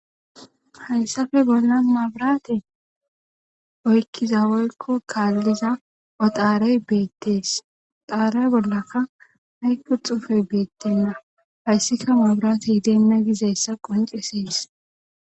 hayssappe bolla maabiraate oykkiza woyko kaalliza odaarey beettees xaarey bollaka haykku xufey beettenna hayssika mabrate hidenna gizessa qoncesees